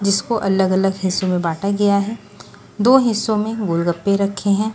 जिसको अलग-अलग हिस्सों में बांटा गया है दो हिस्सों में गोलगप्पे रखे हैं।